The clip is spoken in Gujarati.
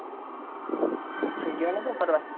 ક્યાંય જ્યાં નતા ફરવા?